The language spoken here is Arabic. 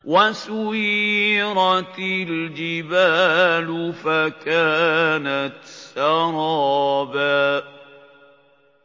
وَسُيِّرَتِ الْجِبَالُ فَكَانَتْ سَرَابًا